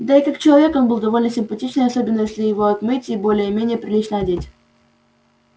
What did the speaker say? да и как человек он был довольно симпатичен особенно если его отмыть и более-менее прилично одеть